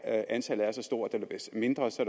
antallet er så stort eller mindre så